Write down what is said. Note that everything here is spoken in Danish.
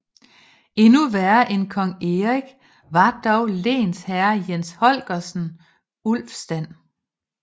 Endnu værre end kong Erik var dog lensherre Jens Holgersen Ulfstand